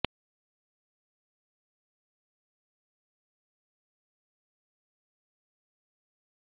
पुलिसे ने बताया कि न्यू साउथ वेल्स स्थित एक मकान में भीषण आग लग गई